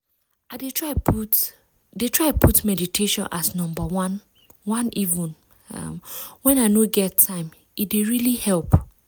i dey try put dey try put meditation as number oneeven um….when i no get time - e dey really help